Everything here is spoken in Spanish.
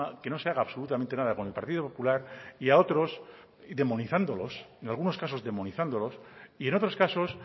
que no se haga absolutamente nada con el partido popular y a otros demonizándolos en algunos casos demonizándolos y en otros casos